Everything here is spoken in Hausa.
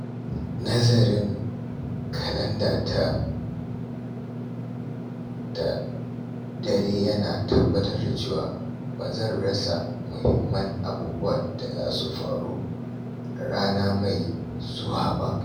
Nazarin kalandata da dare yana tabbatar da cewa ba zan rasa muhimman abubuwan da za su faru a rana mai zuwa ba.